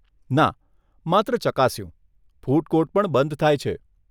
ના, માત્ર ચકાસ્યું. ફૂડ કોર્ટ પણ બંધ થાય છે.